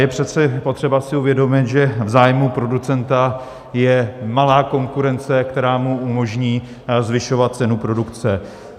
Je přece potřeba si uvědomit, že v zájmu producenta je malá konkurence, která mu umožní zvyšovat cenu produkce.